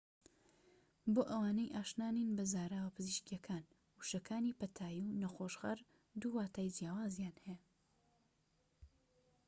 بۆ ئەوانەی ئاشنا نین بە زاراوە پزیشکیەکان وشەکانی پەتایی و نەخۆشخەر دوو واتای جیاوازیان هەیە